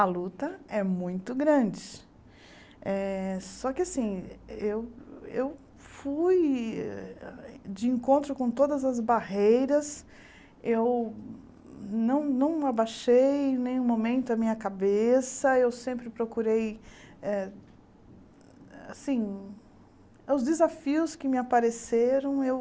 A luta é muito grande eh, só que assim, eu eu fui de encontro com todas as barreiras, eu não não abaixei em nenhum momento a minha cabeça, eu sempre procurei eh, assim, os desafios que me apareceram, eu